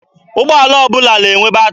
Ụgbọala ọbụla na-enwe batịrị.